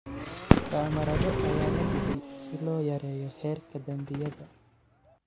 Kamarado ayaa la dhigay si loo yareeyo heerka dambiyada.